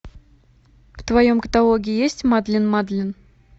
в твоем каталоге есть мадлен мадлен